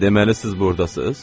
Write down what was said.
Deməli siz burdasız?